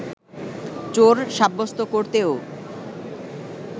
চোর সাব্যস্ত করতেও